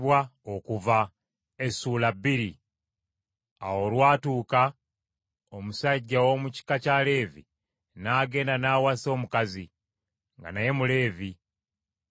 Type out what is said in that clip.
Awo olwatuuka omusajja ow’omu kika kya Leevi, n’agenda n’awasa omukazi, nga naye Muleevi.